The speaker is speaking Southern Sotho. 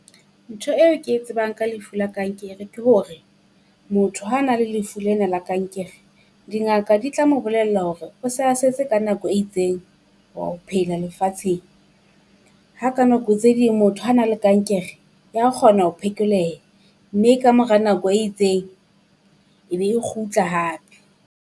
Ntho eo ke e tsebang ka lefu la kankere ke hore, motho ha na le lefu lena la kankere. Dingaka di tla mo bolella hore o sa setse ka nako e itseng wa ho phela lefatsheng. Ha ka nako tse ding motho ha na le kankere, ya kgona ho phekoleha mme kamora nako e itseng e be kgutla hape.